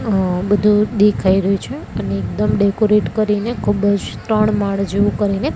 આ બધું દેખાઈ રહ્યું છે અને એકદમ ડેકોરેટ કરીને ખૂબ જ ત્રણ માળ જેવું કરીને.--